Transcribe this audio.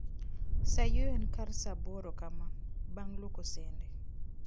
Sa yueyo en kar sa aboro kama, bang' luoko sende